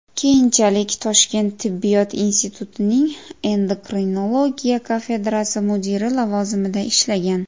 Keyinchalik Toshkent tibbiyot institutining endokrinologiya kafedrasi mudiri lavozimida ishlagan.